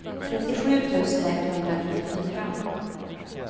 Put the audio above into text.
trettiosju tusen etthundranittiofyra